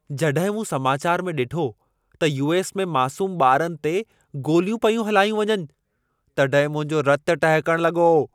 जॾहिं मूं समाचार में ॾिठो त यू.एस. में मासूम ॿारनि ते गोलियूं पयूं हलायूं वञनि, तॾहिं मुंहिंजो रतु टहिकण लॻो।